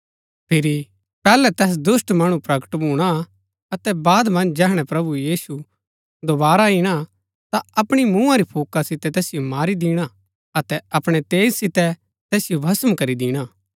फिरी पैहलै तैस दुष्‍ट मणु प्रकट भूणा हा अतै बाद मन्ज जैहणै प्रभु यीशु दोवारा इणा ता अपणी मुँहा री फूका सितै तैसिओ मारी दिणा अतै अपणै तेज सितै तैसिओ भस्म करी दिणा